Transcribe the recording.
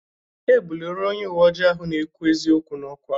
E buliri onye uwe ojii ahụ na-ekwu eziokwu n'ọkwa.